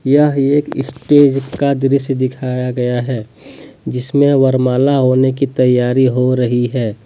यह एक स्टेज का दृश्य दिखाया गया हैं जिसमें वरमाला होने की तैयारी हो रही हैं।